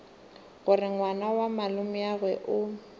gore ngwana wa malomeagwe o